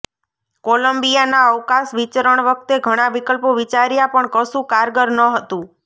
કોલંબિયાના અવકાશ વિચરણ વખતે ઘણાં વિકલ્પો વિચાર્યા પણ કશું કારગર ન હતું